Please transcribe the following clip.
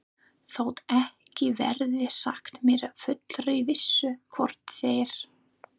Þótt ekki verði sagt með fullri vissu, hvort þeir